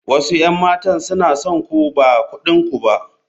Wasu 'yan matan suna son ku ba kudin ku ba.